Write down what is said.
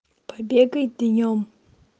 побегай днём